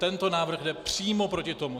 Tento návrh jde přímo proti tomu.